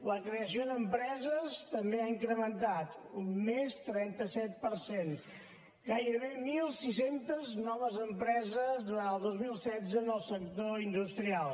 la creació d’empreses també s’ha incrementat un més trenta set per cent gairebé mil sis cents noves empreses durant el dos mil setze en el sector industrial